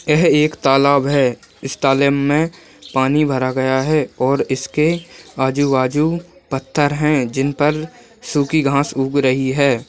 यह एक तालाब है इस तालेब में पानी भर गया है और इसके आजू-बाजू पत्थर है जिन पर सूखी घास उग रही है।